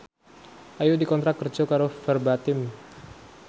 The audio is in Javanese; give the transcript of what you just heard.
Ayu dikontrak kerja karo Verbatim